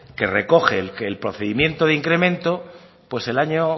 que recoge que el procedimiento de incremento pues el año